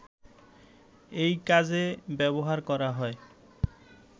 এ কাজে ব্যবহার করা হয়